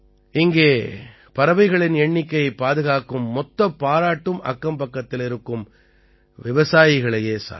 இங்கே பறவைகளின் எண்ணிக்கையைப் பாதுகாக்கும் மொத்தப் பாராட்டும் அக்கம்பக்கத்தில் இருக்கும் விவசாயிகளையே சாரும்